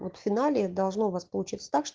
вот в финале должно у вас получиться так что